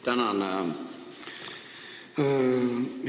Tänan!